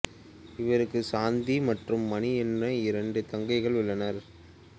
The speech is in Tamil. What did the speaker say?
இவருக்கு சாந்தி மற்றும் மணி என இரண்டு தங்கைகள் உள்ளனர்